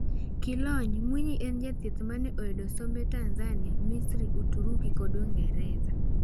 Kilony', Mwinyi en jathieth maneoyudo sombe Tanzania, Misri, Uturuki kod Uingereza.